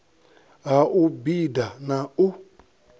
ha u bida na u